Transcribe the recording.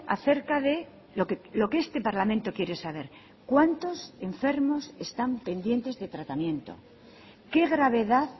acerca de lo que este parlamento quiere saber cuántos enfermos están pendientes de tratamiento qué gravedad